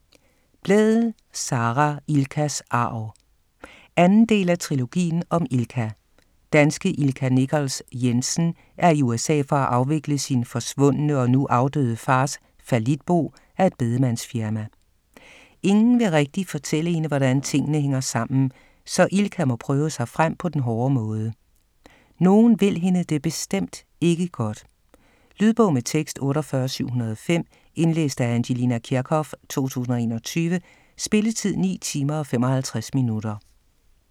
Blædel, Sara: Ilkas arv 2. del af Trilogien om Ilka. Danske Ilka Nichols Jensen er i USA for at afvikle sin forsvundne og nu afdøde fars fallitbo af et bedemandsfirma. Ingen vil rigtig fortælle hende, hvordan tingene hænger sammen, så Ilka må prøve sig frem på den hårde måde. Nogen vil hende det bestemt ikke godt. Lydbog med tekst 48705 Indlæst af Angelina Kirchhoff, 2021. Spilletid: 9 timer, 55 minutter.